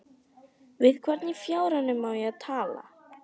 Við hvern í fjáranum á ég að tala?